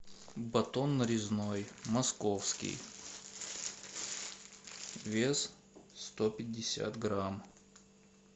батон нарезной московский вес сто пятьдесят грамм